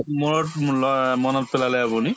মূৰত অ মনত পেলালে আপুনি